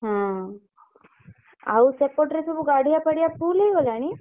ହଁ ଆଉ ସେପଟରେ ସବୁ ଗାଡିଆ ଫାଡିଆ full ହେଇଗଲାଣି?